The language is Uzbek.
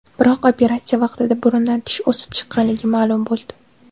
Biroq operatsiya vaqtida burundan tish o‘sib chiqqanligi ma’lum bo‘ldi.